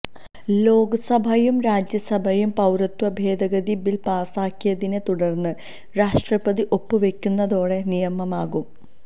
ലോക്സഭയും രാജ്യസഭയും പൌരത്വ ഭേദഗതി ബില് പാസാക്കിയതിനെ തുടര്ന്ന് രാഷ്ട്രപതി ഒപ്പ് വെയ്ക്കുന്നതോടെ നിയമമാകും